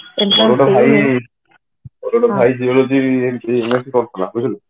ମୋର ଗୋଟେ ଭାଇ geology ବୁଝିଲୁ